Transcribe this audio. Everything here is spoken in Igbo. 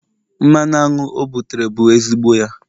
mmanụ aṅụ o butere bụ ezigbo ya